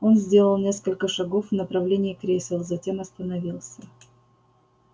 он сделал несколько шагов в направлении кресел затем остановился